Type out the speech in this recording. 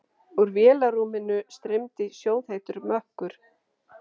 Úr vélarrúminu streymdi sjóðheitur mökkur.